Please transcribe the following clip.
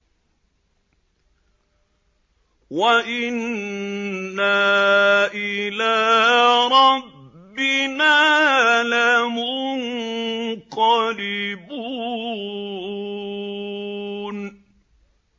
وَإِنَّا إِلَىٰ رَبِّنَا لَمُنقَلِبُونَ